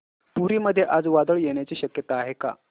पुरी मध्ये आज वादळ येण्याची शक्यता आहे का